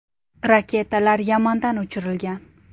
Raketalar Yamandan uchirilgan.